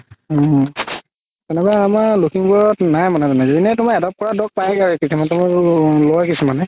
অ তেনেকুৱা আমাৰ লাখিমপুৰত নাই মানে যোনে মানে adopt কৰা dog পাইগে লই কিছুমানে